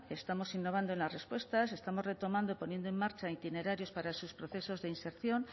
estamos innovando en las respuestas estamos retomando poniendo en marcha itinerarios para sus procesos de inserción